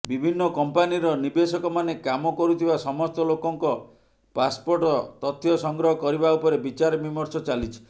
ବିଭିନ୍ନ କଂପାନିର ନିବେଶକଭାବେ କାମ କରୁଥିବା ସମସ୍ତ ଲୋକଙ୍କ ପାସ୍ପୋର୍ଟ ତଥ୍ୟ ସଂଗ୍ରହ କରିବା ଉପରେ ବିଚାରବିମର୍ଶ ଚାଲିଛି